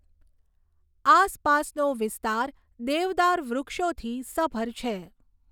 આસપાસનો વિસ્તાર દેવદાર વૃક્ષોથી સભર છે.